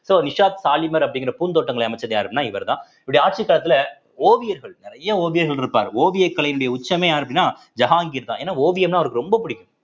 so Nishat Shalimar அப்படிங்கிற பூந்தோட்டங்களை அமைச்சது யாருன்னா இவர்தான் இவருடைய ஆட்சிக் காலத்திலே ஓவியர்கள் நிறைய ஓவியங்கள் இருப்பார் ஓவியக் கலையினுடைய உச்சமே யாரு அப்படின்னா ஜஹாங்கீர்தான் ஏன்னா ஓவியம்ன்னா அவருக்கு ரொம்ப பிடிக்கும்